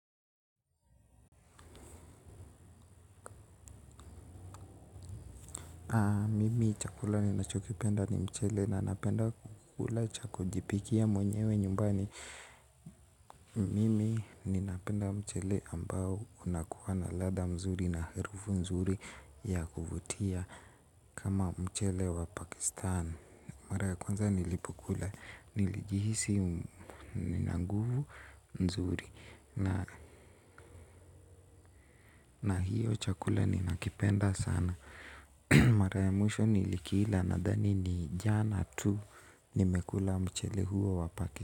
Mimi chakula ninachokipenda ni mchele na napenda kukula chaku jipikia mwenyewe nyumbani. Mimi ninapenda mchele ambao unakuwa na ladha mzuri na harufu mzuri ya kuvutia kama mchele wa pakistan. Mara ya kwanza nilipokula nilijihisi ninanguvu mzuri na hiyo chakula ninakipenda sana. Mara ya mwisho ni likila nadhani ni jana tu nimekula mchele huo wapakaki.